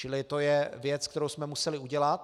Čili to je věc, kterou jsme museli udělat.